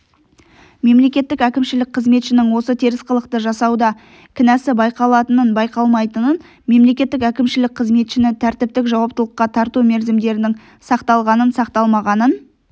мемлекеттік әкімшілік қызметшінің осы теріс қылықты жасауда кінәсі байқалатынын-байқалмайтынын мемлекеттік әкімшілік қызметшіні тәртіптік жауаптылыққа тарту мерзімдерінің сақталғанын-сақталмағанын